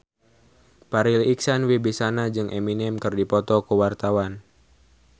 Farri Icksan Wibisana jeung Eminem keur dipoto ku wartawan